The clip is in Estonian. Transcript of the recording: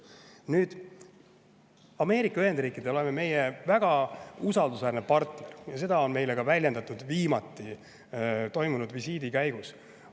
Nüüd, Ameerika Ühendriikidele oleme me väga usaldusväärne partner ja seda väljendati meile ka viimati toimunud visiidi käigus.